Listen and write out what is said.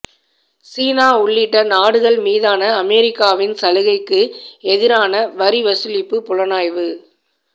சீனா உள்ளிட்ட நாடுகள் மீதான அமெரிக்காவின் சலுகைக்கு எதிரான வரி வசூலிப்பு புலனாய்வு